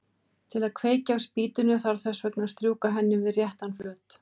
Til að kveikja á spýtunni þarf þess vegna að strjúka henni við réttan flöt.